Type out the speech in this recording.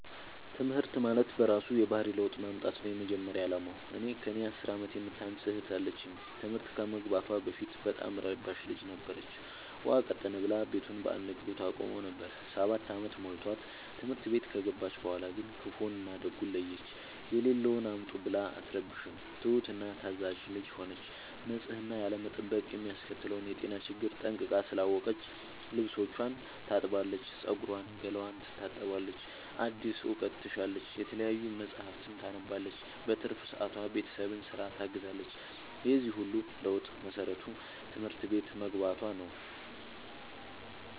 ትምህርት ማለት በእራሱ የባህሪ ለውጥ ማምጣት ነው የመጀመሪያ አላማው። እኔ ከእኔ አስር አመት የምታንስ እህት አለችኝ ትምህርት ከመግባቷ በፊት በጣም እረባሽ ልጅ ነበረች። ውሃ ቀጠነ ብላ ቤቱን በአንድ እግሩ ታቆመው ነበር። ሰባት አመት ሞልቶት ትምህርት ቤት ከገባች በኋላ ግን ክፋውን እና ደጉን ለየች። የሌለውን አምጡ ብላ አትረብሽም ትሁት እና ታዛዣ ልጅ ሆነች ንፅህናን ያለመጠበቅ የሚያስከትለውን የጤና ችግር ጠንቅቃ ስላወቀች ልብስቿን ታጥባለች ፀጉሯን ገላዋን ትታጠባለች አዲስ እውቀት ትሻለች የተለያዩ መፀሀፍትን ታነባለች በትርፍ ሰዓቷ ቤተሰብን ስራ ታግዛለች የዚህ ሁሉ ለውጥ መሰረቱ ትምህርት ቤት መግባቶ ነው።